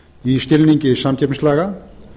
í skilningi samkeppnislaga